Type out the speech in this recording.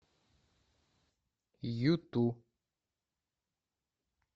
юту